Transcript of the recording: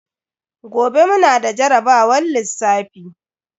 Gobe mu na da jarabawar lissafi.